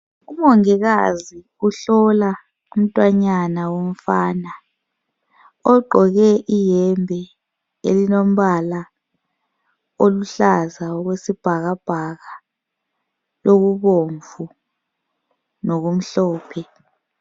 Umongikazi uhlola umntwanyana womfana ogqoke iyembe elombala oluhlaza okwesibhakabhaka, okubomvu lokumhlophe.